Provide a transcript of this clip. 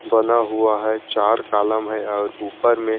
बना हुआ है चार कॉलम है और ऊपर में--